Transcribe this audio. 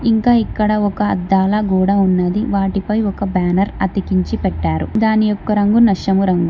ఇంకా ఇక్కడ ఒక అద్దాల గోడ ఉన్నది వాటిపై ఒక బ్యానర్ అతికించి పెట్టారు దాని యొక్క రంగు నష్టమురంగు.